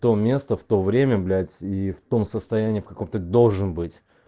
то место в то время блять и в том состоянии в каком ты должен быть